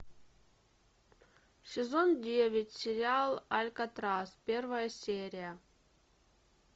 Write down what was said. сезон девять сериал алькатрас первая серия